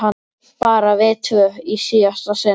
Bara við tvö í síðasta sinn.